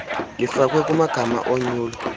lifakwe kumagama onyulo